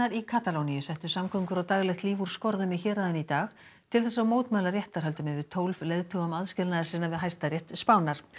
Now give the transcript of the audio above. í Katalóníu settu samgöngur og daglegt líf úr skorðum í héraðinu í dag til þess að mótmæla réttarhöldum yfir tólf leiðtogum aðskilnaðarsinna við Hæstarétt Spánar